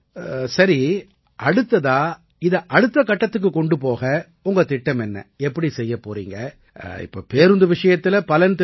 சரி அடுத்ததா இதை அடுத்த கட்டம் கொண்டு போக உங்க திட்டம் என்ன எப்படி செய்யப் போறீங்க இப்ப பேருந்து விஷயத்தில பலன் தெரிஞ்சு போச்சு